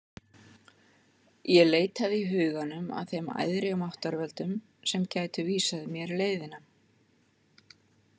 Ég leitaði í huganum að þeim æðri máttarvöldum sem gætu vísað mér leiðina.